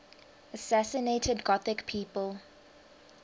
assassinated gothic people